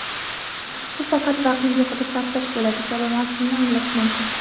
bu faqat vaqtni behuda sarflash bo‘ladi kabi mazmunni anglash mumkin.